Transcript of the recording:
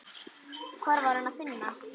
Hvar var Hann að finna?